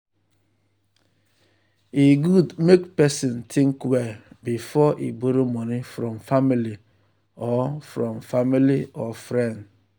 e good make person think well before e borrow money from family or from family or friend.